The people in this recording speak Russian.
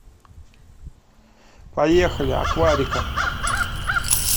поехали акварика